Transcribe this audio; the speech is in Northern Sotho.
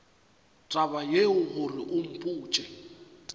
taba yeo gore o mpotše